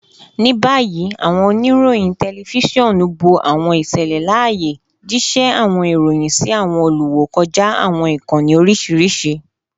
Ni bayi, awọn onirohin tẹlifisiọnu bo awọn iṣẹlẹ laaye, jiṣẹ awọn iroyin si awọn oluwo kọja awọn ikanni oriṣiriṣi